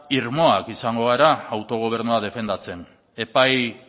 irmoak izango gara autogobernua defendatzen epai